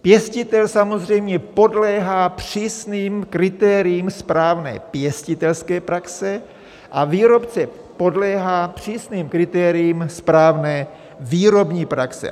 Pěstitel samozřejmě podléhá přísným kritériím správné pěstitelské praxe a výrobce podléhá přísným kritériím správné výrobní praxe.